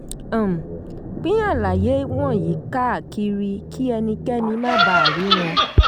um pín àlàyé wọ̀nyí káàkiri kí ẹnikẹ́ni má baà rí wọn.